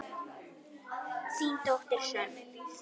Þín dóttir, Hrönn.